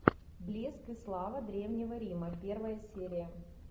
блеск и слава древнего рима первая серия